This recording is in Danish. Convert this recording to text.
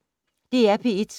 DR P1